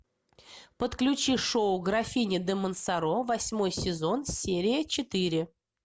подключи шоу графиня де монсоро восьмой сезон серия четыре